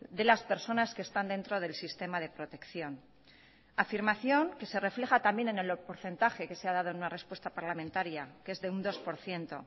de las personas que están dentro del sistema de protección afirmación que se refleja también en el porcentaje que se ha dado en una respuesta parlamentaria que es de un dos por ciento